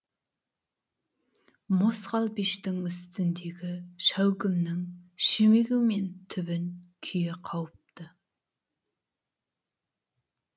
мосқал пештің үстіндегі шәугімнің шүмегі мен түбін күйе қауыпты